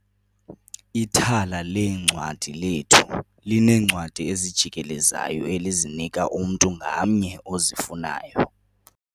Ithala leencwadi lethu lineencwadi ezijikelezayo elizinika umntu ngamnye ozifunayo.